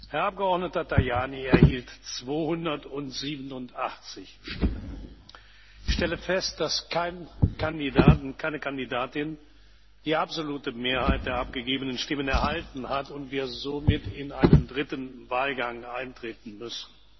Herrn Abgeordneten Tajani 287 Stimmen. Ich stelle fest, dass kein Kandidat und keine Kandidatin die absolute Mehrheit der abgegebenen Stimmen erhalten hat und wir somit in einen dritten Wahlgang eintreten müssen.